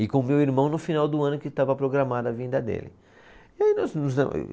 E com o meu irmão no final do ano que estava programada a vinda dele. Aí